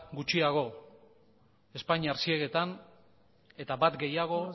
gutxiago espainiar ziegetan eta bat gehiago